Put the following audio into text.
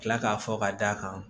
Kila k'a fɔ ka d'a kan